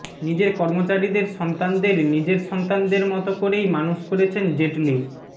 নিজের কর্মচারীদের সন্তানদের নিজের সন্তানদের মতো করেই মানুষ করেছেন জেটলি